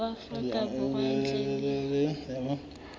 wa afrika borwa ntle le